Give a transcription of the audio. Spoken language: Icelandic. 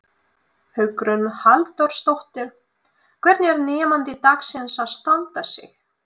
Hugrún Halldórsdóttir: Og hvernig er nemandi dagsins að standa sig?